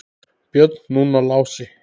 Björn, núna Lási.